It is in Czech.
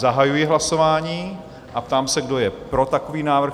Zahajuji hlasování a ptám se, kdo je pro takový návrh?